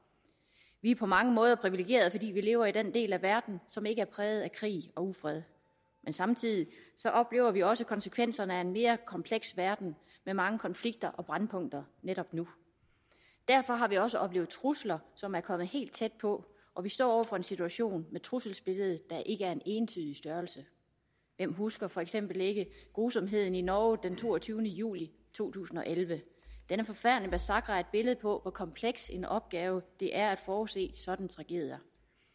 vi er på mange måder privilegerede fordi vi lever i den del af verden som ikke er præget af krig og ufred samtidig oplever vi også konsekvenserne af en mere kompleks verden med mange konflikter og brændpunkter netop nu derfor har vi også oplevet trusler som er kommet helt tæt på og vi står over for en situation med et trusselsbillede der ikke er en entydig størrelse hvem husker for eksempel ikke grusomheden i norge den toogtyvende juli to tusind og elleve denne forfærdelige massakre er et billede på hvor kompleks en opgave det er at forudse sådanne tragedier